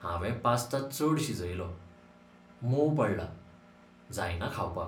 हांवें पास्ता चड शिजयलो, मोव पडला, जायना खावपाक.